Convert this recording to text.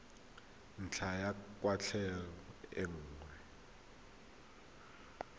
ntlha ya kwatlhao e nngwe